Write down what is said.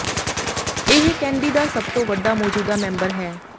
ਇਹ ਕੈਨਡੀ ਦਾ ਸਭ ਤੋਂ ਵੱਡਾ ਮੌਜੂਦਾ ਮੈਂਬਰ ਹੈ